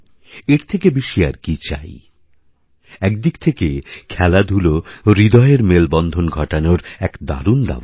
এর থেকে বেশি আর কি চাই একদিক থেকে খেলাধুলো হৃদয়ের মেলবন্ধনঘটানোর এক দারুণ দাওয়াই